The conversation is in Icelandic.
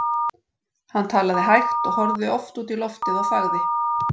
Hann talaði hægt og horfði oft út í loftið og þagði.